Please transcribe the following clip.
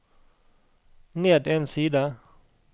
ned en side